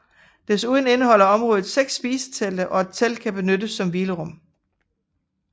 Desuden indeholder området seks spisetelte og et telt kan benyttes som hvilerum